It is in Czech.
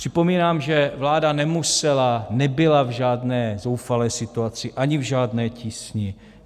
Připomínám, že vláda nemusela, nebyla v žádné zoufalé situaci ani v žádné tísni.